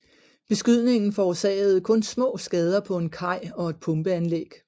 Beskydningen forårsagede kun små skader på en kaj og et pumpeanlæg